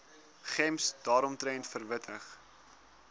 gems daaromtrent verwittig